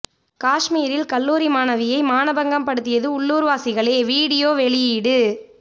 காஷ்மீரில் கல்லூரி மாணவியை மானபங்கம் படுத்தியது உள்ளூர்வாசிகளே வீடியோ வெளியீடு